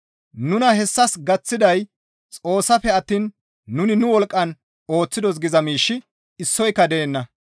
Nuna hessas gaththiday Xoossafe attiin nuni nu wolqqan ooththidos giza miishshi issoyka deenna.